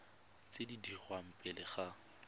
tse di dirwang pele ga